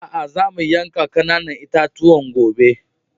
Aa, zamu yanka ƙananan itatuwan gobe.